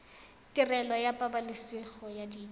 tirelo ya pabalesego ya dijo